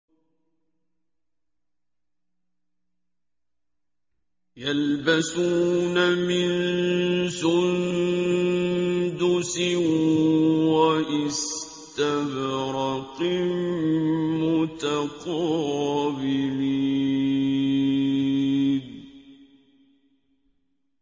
يَلْبَسُونَ مِن سُندُسٍ وَإِسْتَبْرَقٍ مُّتَقَابِلِينَ